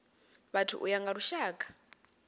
vhathu u ya nga lushaka